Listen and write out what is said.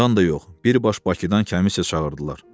Rayondan da yox, birbaş Bakıdan kəmissiya çağırdılar.